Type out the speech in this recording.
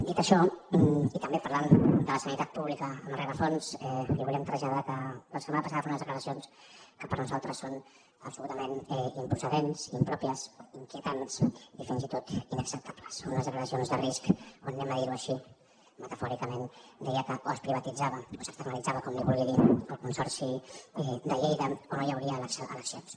dit això i també parlant de la sanitat pública en el rerefons li volíem traslladar que la setmana passada va fer unes declaracions que per nosaltres són absolutament improcedents impròpies inquietants i fins i tot inacceptables unes declaracions de risc on ho direm així metafòricament deia que o es privatitzava o s’externalitzava com li vulgui dir el consorci de lleida o no hi hauria eleccions